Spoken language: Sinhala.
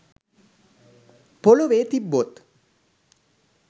පොළොවේ තිබ්බොත්